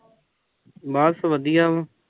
ਬਸ ਵਧੀਆ